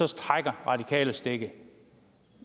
trækker radikale stikket